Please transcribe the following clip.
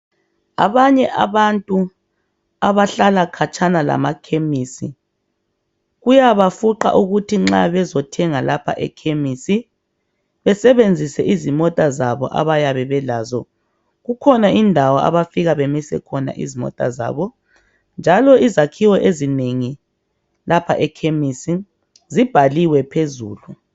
Abanye abantu abahlala khatshana lamakhemisi kuyabafuqa ukuthi nxa bezothenga lapha ekhemisi besebenzise izimota zabo abayabe belazo kukhona indawo abafika bamise izimota zabo njalo izakhiwo ezinengi lapha ekhemisi zibhaliwe phezulu.